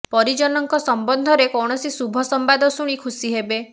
ପରିଜନଙ୍କ ସମ୍ବନ୍ଧରେ କୌଣସି ଶୁଭ ସମ୍ବାଦ ଶୁଣି ଖୁସି ହେବେ